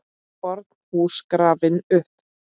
FORN HÚS GRAFIN UPP